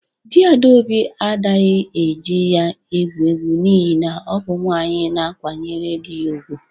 Di Adaobi adaghi e ji ya egwu egwu n'ihi na ọ bụ nwaanyị na-akwanyere dị ya ugwu.